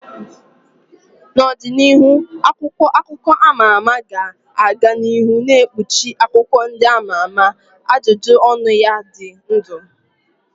N'ọdịnihu, akwụkwọ akụkọ a ma ama ga-aga n'ihu na-ekpuchi akụkọ ndị ama ama, ajụjụ ọnụ ya na ụdị ndụ.